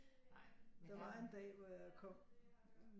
Der var en dag hvor jeg kom